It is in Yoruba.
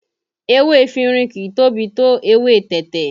Ewé efinrin kìí tóbi tó èwe tẹ̀tẹ̀